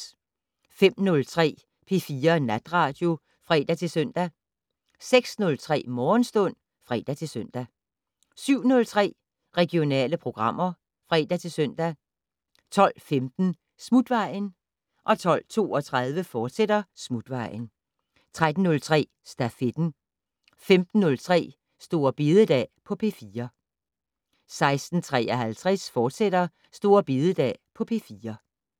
05:03: P4 Natradio (fre-søn) 06:03: Morgenstund (fre-søn) 07:03: Regionale programmer (fre-søn) 12:15: Smutvejen 12:32: Smutvejen, fortsat 13:03: Stafetten 15:03: Store bededag på P4 16:53: Store bededag på P4, fortsat